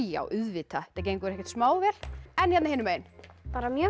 já auðvitað þetta gengur ekkert smá vel en hérna hinum megin bara mjög